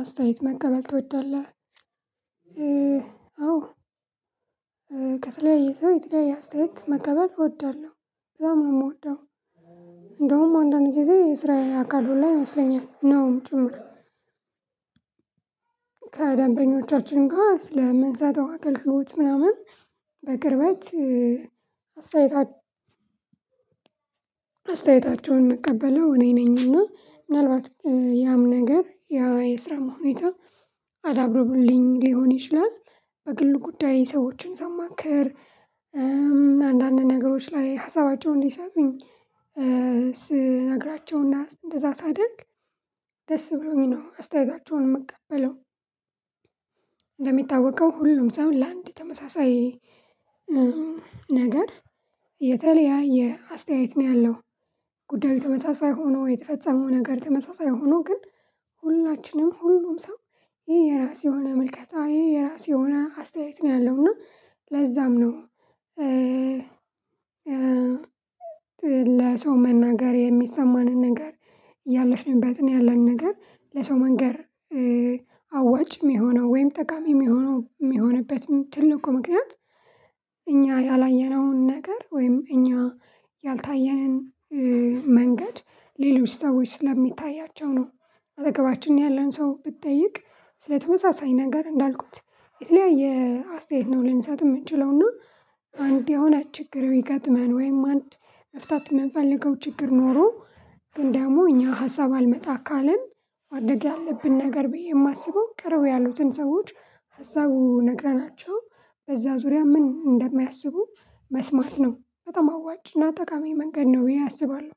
አስተያየት መቀበል ትወዳለህ አዎ? ከተለያየ ሰው የተለያየ አስተያየት መቀበል እወዳለሁ በጣም ነው የምወደው። እንደውም አንዳንድ ጊዜ የስራዬ አካል ሁላ ይመስለኛል ነውም ጭምር። ከደንበኞቻችን ጋር ስለምንሰጠው አአገልግሎት ምናምን በቅርበት አስተያየት አስተያየታቸውን የምቀበለው እኔ ነኝ እና ምናልባት ያም ነገር የስራም ሁኔታ አዳብረውልኝ ሊሆን ይችላል። በግል ጉዳይ ሰዎችን ሰማክር አንዳንድ ነገሮች ላይ ሀሳባቸውን እንዲሰጡኝ ስነግራቸውና እንደዛ ሳደርግ ደስ ብሎኝ ነው አስተያየታቸውን የምቀበለው ሁሉም ሰው ለአንድ ተመሳሳይ ነገር የተለያየ አስተያየት ነው ያለው ጉዳዩ ተመሳሳይ ሆኖ የተፈጸመው ነገር ተመሳሳይ ሆኖ ግን ሁላችንም ሁሉም ሰው የየራስ የሆነ ምልከታ የየራስ የሆነ አስተያየት ነው ያለው እና ለዛም ነው። ለሰው መናገር የሚሰማንን ነገር ያለፍንበትን ያለንን ነገር ለሰው መንገር አዋጭ የሚሆነው ወይም ጠቃሚ የሚሆነው የሚሆንበት ትልቁ ምክንያት እኛ ያላየነውን ነገር ወይም እኛ ያልታየንን መንገድ ሌሎች ሰዎች ስለሚታያቸው ነው። አጠገባችን ያለን ሰው ብትጠይቅ ስለተመሳሳይ ነገር እንዳልኩት የተለያየ አስተያየት ነው ልንሳጥ የምንችለውና አንድ የሆነ ችግር ብገጥመን ወይም አንድ መፍታት የምንፈልገው ችግር ኖሮ ግን ደግሞ እኛ ሀሳብ አልመጣ ካለን ማድረግ ያለብን ነገር ብዬ የማስበው ቅረብ ያሉትን ሰዎች ሀሳቡ ነግረናቸው በዛ ዙሪያ ምን እንደሚያስቡ መስማት ነው በጣም አዋጭ ጠቃሚ መንገድ ነው ብዬ አስባለሁ።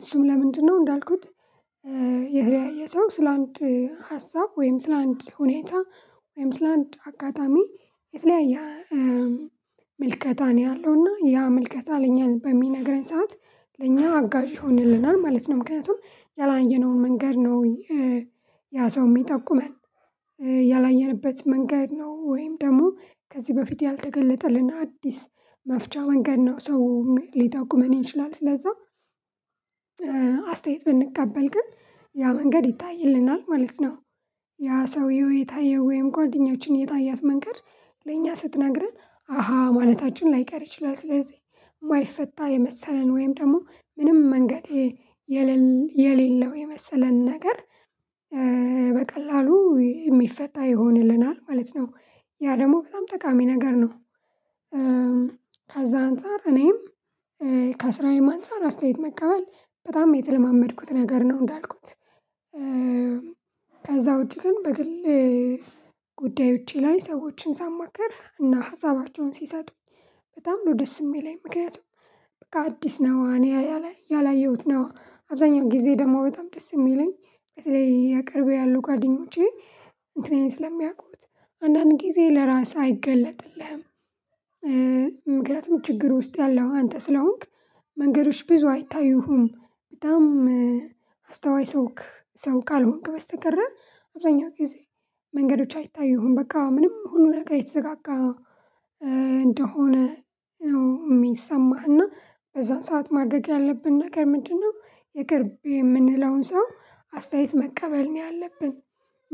እሱም ለምንድነው እንዳልኩት? የተለያየ ሰው ስለአንድ ሀሳብ ወይም ስለአንድ ሁኔታ ወይም ስለአንድ አገጠሚ የተለያየ ምልከታ ነው ያለው እና ያ ምልከታ ለእኛ በሚነግረኝ ሰዓት ለኛ አጋዥ ይሆንልናል ማለት ነው ምክንያቱም ያላየነውን መንገድ ነው። ያ ሰው የሚጠቁመን ያላየንበት መንገድ ነው ወይም ደግሞ ከዚህ በፊት ያልተገለጠልን አዲስ መፍቻ መንገድ ነው ሰው ሊጠቁመን ይችላል ስለዛ። አስተያየት ብንቃበል ግን ያ መንገድ ይታይልናል ማለት ነው። ያ ሰውየው የታየው ወይም ጓደኛችን የታያት መንገድ ለእኛ ስትናገር አሃ ማለታችን ላይቀር ይችላል ስለዚህ የማይፈታ የመሰለን ወይም ደግሞ ምንም መንገድ የሌለው የመሰለን ነገር በቀላሉ የሚፈታ ይሆንልናል ማለት ነው። ያ ደግሞ በጣም ጠቃሚ ነገር ነው። ከዛ አንፃር እኔም ከስራዬም አንፃር አስተያየት መቀበል በጣም የተለማመድኩት ነገር ነው እንዳልኩት። ውጪ ግን በግል ጉዳዮቼ ላይ ሰዎችን ሳማክር እና ሀሳባቸውን ሲሰጡ በጣም ነው ደስ የሚለኝ ምክንያቱም በቃ አዲስ ነው እኔ ያላየሁት ነው አብዛኛው ጊዜ ደግሞ በጣም ደስ የሚለኝ በተለይ ያቅርቤ ያሉ ጓደኞቼ እንትኔን ስለሚያውቁት አንዳንድ ጊዜ ለራስህ አይገለጥልህም። ምክንያቱን ችግር ውስጥ ያለኸው አንተ ስለሆንክ መንገዶች ብዙ አይታዩህም። በጣም አስተዋይ ሰውክ ሰው ካልሆንክ በስተቀር አብዛኛው ጊዜ መንገዶች አይታዩህም በቃ ምንም ሁሉ ነገር የተዘጋጋ እንደሆነ ነው የሚሰማህና በዛን ሰዓት ማድረግ ያለብን ነገር ምንድነው? የቅርቤ የምንለውን ሰው አስተያየት መቀበል ነው ያለብን።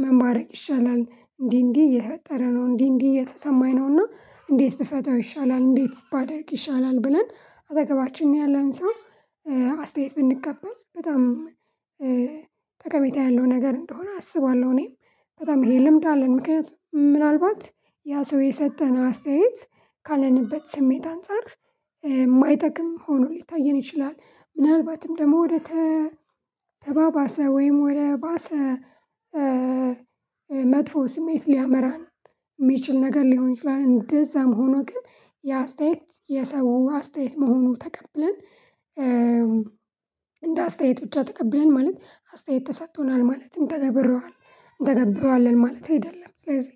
ምን በደሪግ ይሻላል እንዲህ እንዲህ እየተፈጠረ ነው እንዲህ እንዲህ እየተሰማኝ ነውና እንዴት ብፈታው ይሻላል? እንዴት ባደርግ ይሻላል? ብለን አጠገባችን ያለውን ሰው አስተያየት ብንቀበል በጣም ጠቀሜታ ያለው ነገር እንደሆነ አስባለሁ። እኔም በጣም ይሄ ልምድ አለን ምክንያቱም ምናልባት ያ ሰው የሰጠን አስተያየት ካለንበት ስሜት አንፃር የማይጠቅም ሆኖ ሊታየን ይችላል ምናልባትም ደግሞ ወደ ተባባሰ ወይም ወደ ባሰ መጥፎ ስሜት ሊያመራን የሚችል ነገር ሊሆን ይችላል እንደዛ መሆኑ ግን የአስተያየት የሰው አስተያየት መሆኑ ተቀብለን እንደ አስተያየት ብቻ ተቀብለን ማለት አስተያየት ተሰጥቶናል ማለት እንተገበረዋለን እንተገብረዋለን ማለት አይደለም። ስለዚህ